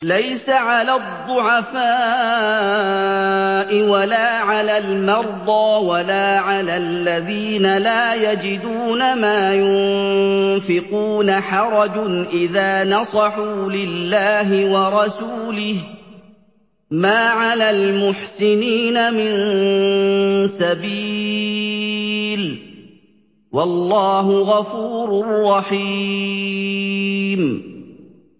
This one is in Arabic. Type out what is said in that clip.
لَّيْسَ عَلَى الضُّعَفَاءِ وَلَا عَلَى الْمَرْضَىٰ وَلَا عَلَى الَّذِينَ لَا يَجِدُونَ مَا يُنفِقُونَ حَرَجٌ إِذَا نَصَحُوا لِلَّهِ وَرَسُولِهِ ۚ مَا عَلَى الْمُحْسِنِينَ مِن سَبِيلٍ ۚ وَاللَّهُ غَفُورٌ رَّحِيمٌ